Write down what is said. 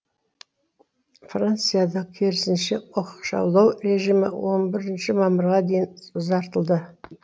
францияда керісінше оқшаулау режимі он бірінші мамырға дейін ұзартылды